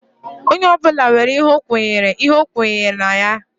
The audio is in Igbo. Onye ọbụla nwere ihe ọ nwere ihe o kwenyere na ya